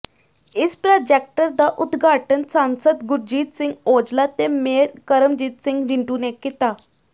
ਇਸ ਪ੍ਰਾਜੈਕਟਰ ਦਾ ਉਦਘਾਟਨ ਸਾਂਸਦ ਗੁਰਜੀਤ ਸਿੰਘ ਔਜਲਾ ਤੇ ਮੇਅਰ ਕਰਮਜੀਤ ਸਿੰਘ ਰਿੰਟੂ ਨੇ ਕੀਤਾ